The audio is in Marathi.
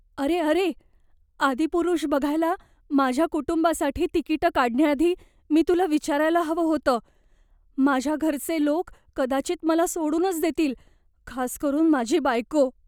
अरे अरे! "आदिपुरुष" बघायला माझ्या कुटुंबासाठी तिकिटं काढण्याआधी मी तुला विचारायला हवं होतं. माझ्या घरचे लोक कदाचित मला सोडूनच देतील, खास करून माझी बायको.